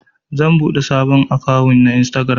zan buɗe sabon akawun a instagiram